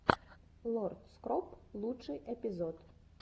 лорд скроп лучший эпизод